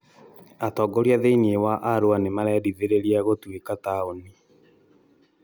Atongoria thĩinĩ wa Arua nĩ marendithĩrĩria gũtuĩka taũni